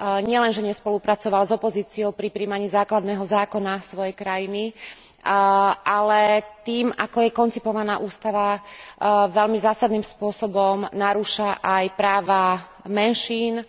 Nielenže nespolupracoval s opozíciou pri prijímaní základného zákona svojej krajiny, ale tým, ako je koncipovaná ústava, veľmi zásadným spôsobom narúša aj práva menšín,